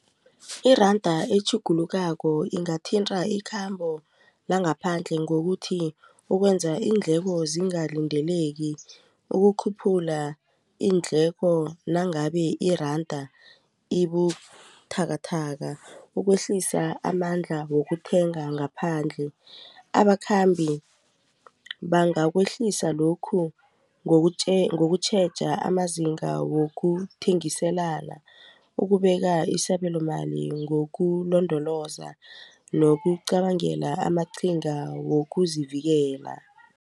Iranda etjhugulukako ingathinta ikhambo langaphandle ngokuthi ukwenza iindleko zingalindeleki ukukhuphula iindleko nangabe iranda ibuthakathaka ukwehlisa amandla wokuthenga ngaphandle abakhambi bangakwehlisa lokhu ngokutjheja amazinga wokuthengiselana ukubeka isabelomali ngokulondoloza nokucabangela amaqhinga wokuzivikela.